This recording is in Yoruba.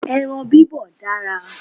Ẹran bibọ̀ dára